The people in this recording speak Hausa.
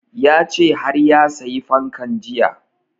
Ya ce har ya sayi fankan jiya